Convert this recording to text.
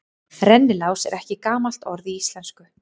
Rennilás er ekki gamalt orð í íslensku.